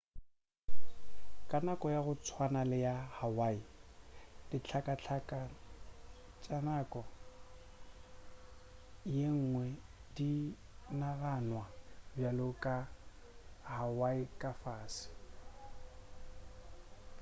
ka nako ya go tswana le ya hawaii dihlakahlaka ka nako yengwe di naganwa bjale ka hawaii ka fase